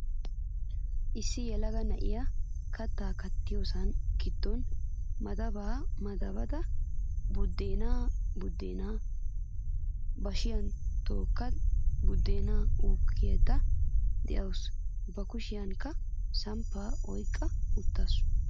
Issi yelaga na'iya kattaa kattiyoosaa giddon madabaa madabada budeenaa buddeenaa bashiya tokkada buddeena uukkayidda dawusu. Ba kushiyankka samppaa oyiqqa uttaasu.